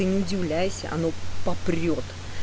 не удивляйся оно попрёт